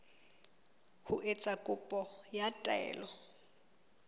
ho etsa kopo ya taelo